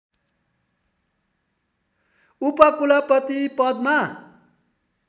उपकुलपति पदमा